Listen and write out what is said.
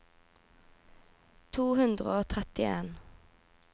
to hundre og trettien